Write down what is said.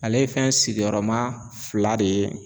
Ale ye fɛn sigiyɔrɔma fila de ye.